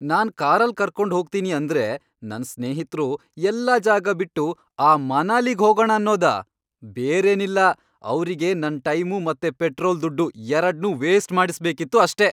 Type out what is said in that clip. ನಾನ್ ಕಾರಲ್ಲ್ ಕರ್ಕೊಂಡ್ ಹೋಗ್ತೀನಿ ಅಂದ್ರೆ ನನ್ ಸ್ನೇಹಿತ್ರು ಎಲ್ಲಾ ಜಾಗ ಬಿಟ್ಟು ಆ ಮನಾಲಿಗ್ ಹೋಗಣ ಅನ್ನೋದಾ? ಬೇರೇನಿಲ್ಲ, ಅವ್ರಿಗೆ ನನ್ ಟೈಮು ಮತ್ತೆ ಪೆಟ್ರೋಲ್ ದುಡ್ಡು ಎರಡ್ನೂ ವೇಸ್ಟ್ ಮಾಡಿಸ್ಬೇಕಿತ್ತು ಅಷ್ಟೇ!